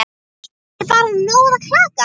Er bara nóg að klaga?